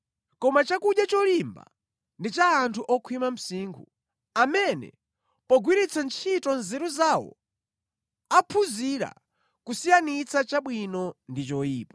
Koma chakudya cholimba ndi cha anthu okhwima msinkhu, amene pogwiritsa ntchito nzeru zawo, aphunzira kusiyanitsa chabwino ndi choyipa.